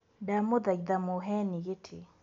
Ndamũthaitha mũheni gĩtĩ.